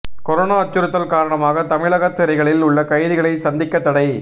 corona அச்சுறுத்தல் காரணமாக தமிழக சிறைகளில் உள்ள கைதிகளை சந்திக்க தடை